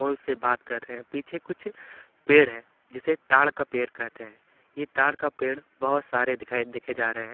औ उनसे बात कर रहे हैं पीछे कुछ पेड़ है जिसे ताड़ का पेड़ कहते हैं ये ताड़ का पेड़ बहोत सारे दिखाई देखे जा रहे हैं।